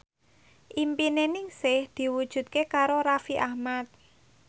impine Ningsih diwujudke karo Raffi Ahmad